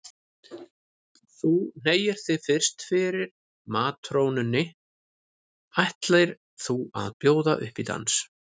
Þú hneigir þig fyrst fyrir matrónunni ætlir þú að bjóða upp í dans.